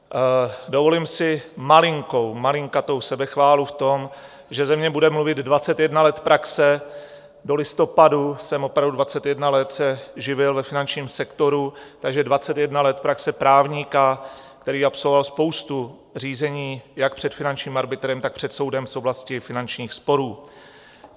Dovolím si malinkou, malinkatou sebechválu v tom, že ze mě bude mluvit 21 let praxe, do listopadu jsem opravdu 21 let se živil ve finančním sektoru, takže 21 let praxe právníka, který absolvoval spoustu řízení jak před finančním arbitrem, tak před soudem z oblasti finančních sporů.